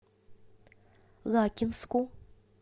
лакинску